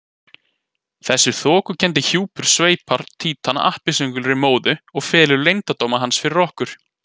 Þessi þokukenndi hjúpur sveipar Títan appelsínugulri móðu og felur leyndardóma hans fyrir okkur.